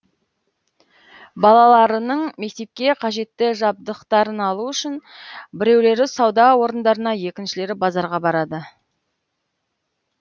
балаларының мектепке қажетті жабдықтарын алу үшін біреулері сауда орындарына екіншілері базарға барады